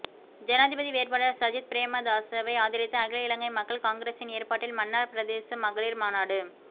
ஜனாதிபதி வேட்பாளர் சஜித் பிரேமதாசவை ஆதரித்து அகில இலங்கை மக்கள் காங்கிரசின் ஏற்பாட்டில் மன்னார் பிரதேச மகளீர் மாநாடு